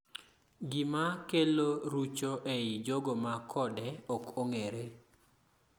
gima kelo rucho ei jogo ma kode ok ong'ere